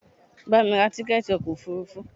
Bamí ra tíkẹ̀ẹ̀ti ọkò òfurufú!